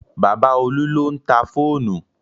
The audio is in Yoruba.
Bàbá Olú ló ń ta fóònù